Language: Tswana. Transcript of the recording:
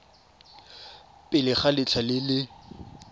pele ga letlha le le